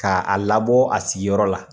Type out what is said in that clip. Ka a labɔ a sigiyɔrɔ la.